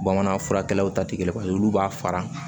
Bamanan furakɛlaw ta tɛ kelen paseke olu b'a fara